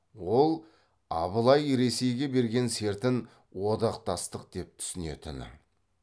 ол абылай ресейге берген сертін одақтастық деп түсінетіні